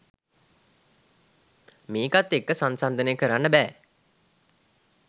මේකත් එක්ක සංසංදනය කරන්න බෑ